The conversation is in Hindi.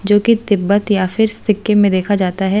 जो कि तिब्बत या फिर सिक्किम में देखा जाता है।